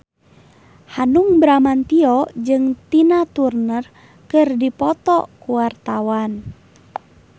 Hanung Bramantyo jeung Tina Turner keur dipoto ku wartawan